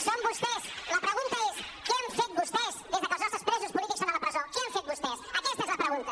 són vostès la pregunta és què han fet vostès des que els nostres presos polítics són a la presó què han fet vostès aquesta és la pregunta